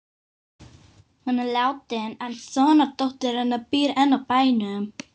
Hún er látin en sonardóttir hennar býr enn á bænum.